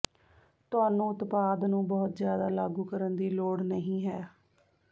ਤੁਹਾਨੂੰ ਉਤਪਾਦ ਨੂੰ ਬਹੁਤ ਜ਼ਿਆਦਾ ਲਾਗੂ ਕਰਨ ਦੀ ਲੋੜ ਨਹੀਂ ਹੈ